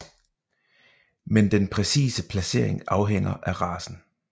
Men den præcise placering afhænger af racen